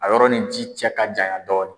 A yɔrɔ nin ci cɛ ka janya dɔɔnin.